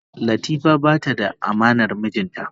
Latifa bata da amanar mijinta ba.